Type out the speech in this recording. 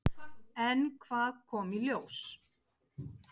En hvað kom í ljós?